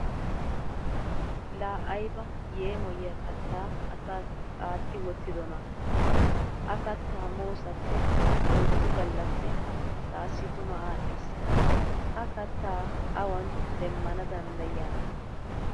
laa ayba yeemmoyiya kataa asaassi aati wottidonaa! ha kataa moosappe issi ouyddu galappe taassi tuma aadhdhiis. ha kataa awan demana danddayiyaana!